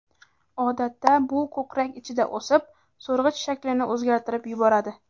Odatda bu ko‘krak ichida o‘sib, so‘rg‘ich shaklini o‘zgartirib boradi.